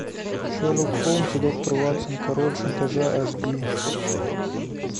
шерлок холмс и доктор ватсон король шантажа аш ди